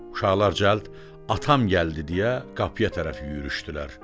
Uşaqlar cəld atam gəldi deyə qapıya tərəf yürüşdülər.